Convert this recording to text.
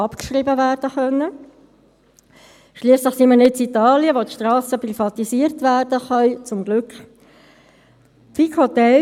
Wegen Schwierigkeiten in der Anlagebuchhaltung, speziell im Amt für Grundstücke und Gebäude (AGG), wurde diese Umstellung dann eben auf 2017 verschoben.